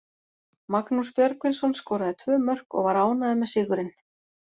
Magnús Björgvinsson skoraði tvö mörk og var ánægður með sigurinn.